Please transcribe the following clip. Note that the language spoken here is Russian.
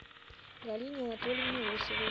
галине анатольевне лосевой